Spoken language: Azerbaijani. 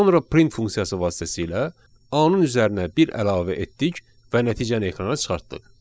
Sonra print funksiyası vasitəsilə A-nın üzərinə bir əlavə etdik və nəticəni ekrana çıxartdıq.